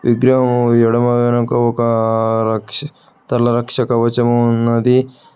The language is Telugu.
విగ్రహము ఎడమ వెనక ఒక రక్ష తలరక్ష కవచము ఉన్నది.